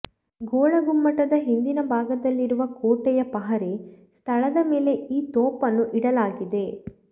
ಗೋಳಗುಮ್ಮಟದ ಹಿಂದಿನ ಭಾಗದಲ್ಲಿರುವ ಕೋಟೆಯ ಪಹರೆ ಸ್ಥಳದ ಮೇಲೆ ಈ ತೋಪನ್ನು ಇಡಲಾಗಿದೆ